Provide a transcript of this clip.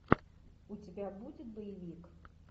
у тебя будет боевик